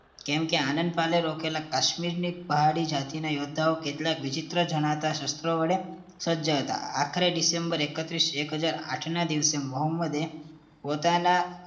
કેમકે આનદપાલ રોકેલા કાશ્મીરી પહાડી જાતિના યોદ્ધા કેટલાક વિચિત્ર જનતા શસ્ત્રો વડે સજ્જ હતા આખરે ડિસેમ્બર એકતીરસ એક હાજર આઠ ના દિવસે મોહમ્મદે